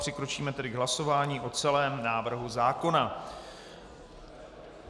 Přikročíme tedy k hlasování o celém návrhu zákona.